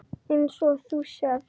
Eins og þú sérð.